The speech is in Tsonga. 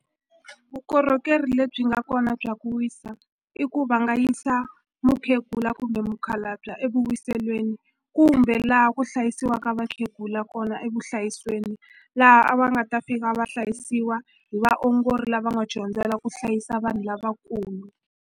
Vukorhokeri lebyi nga kona bya ku wisa i ku va nga yisa mukhegula kumbe mukhalabye evuwiselweni kumbe laha ku hlayisiwaka vakhegula kona evuhlayisweni laha a va nga ta tiva hlayisiwa hi vaongori lava nga dyondzela ku hlayisa vanhu lavakulu.